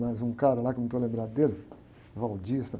Mas um cara lá que eu não estou lembrado dele,